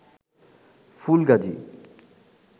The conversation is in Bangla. ফুলগাজী